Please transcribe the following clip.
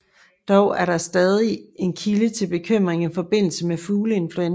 Dog er det stadig en kilde til bekymring i forbindelse med fugleinfluenza